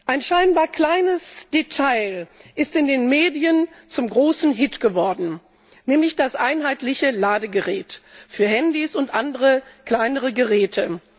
Ein scheinbar kleines Detail ist in den Medien zum großen Hit geworden, nämlich das einheitliche Ladegerät für Handys und andere kleinere Geräte.